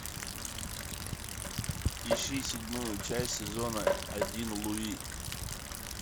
ищи седьмую часть сезона один луи